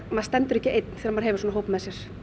maður stendur ekki einn þegar maður hefur svona hóp með sér